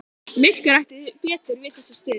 Myrkur ætti betur við þessa stund.